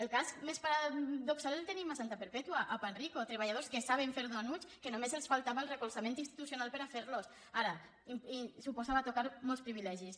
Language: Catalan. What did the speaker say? el cas més paradoxal el tenim a santa perpètua a panrico treballadors que saben fer dònuts que només els faltava el recolzament institucional per a fer los ara suposava tocar molts privilegis